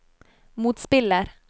motspiller